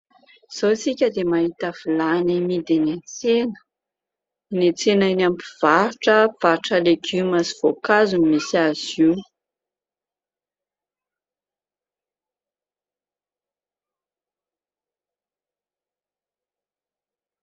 Izao isika dia mahita vilany amidy eny an-tsena. Ny tsena eny amin'ny mpivarotra, mpivarotra legioma sy voankazo no misy azy io.